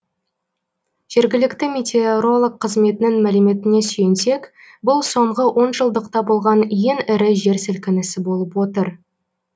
жергілікті метеоролог қызметінің мәліметіне сүйенсек бұл соңғы он жылдықта болған ең ірі жер сілкінісі болып отыр